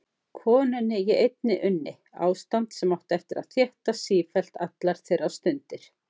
Konunni ég einni unni: Ástand sem átti eftir að þéttast sífellt allar þeirra stundir.